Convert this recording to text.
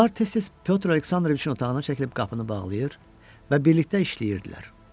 Onlar tez-tez Pyotr Aleksandroviçin otağına çəkilib qapını bağlayır və birlikdə işləyirdilər.